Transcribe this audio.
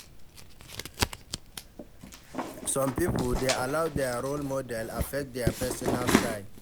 Some pipo dey allow their role model affect their personal style